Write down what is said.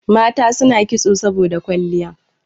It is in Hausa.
Mata suna kitso saboda kwalliya